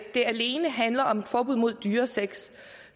det alene handler om et forbud mod dyresex